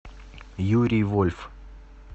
юрий вольф